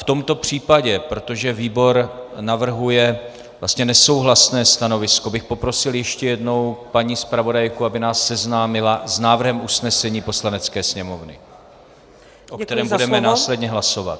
V tomto případě, protože výbor navrhuje vlastně nesouhlasné stanovisko, bych poprosil ještě jednou paní zpravodajku, aby nás seznámila s návrhem usnesení Poslanecké sněmovny, o kterém budeme následně hlasovat.